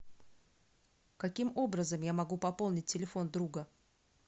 каким образом я могу пополнить телефон друга